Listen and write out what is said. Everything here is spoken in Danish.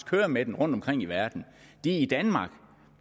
kører med den rundtomkring i verden i danmark